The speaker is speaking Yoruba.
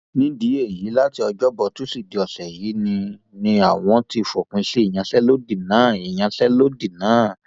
nídìí èyí láti ọjọbọ tọsídẹẹ ọsẹ yìí ni ni àwọn ti fòpin sí ìyanṣẹlódì náà ìyanṣẹlódì náà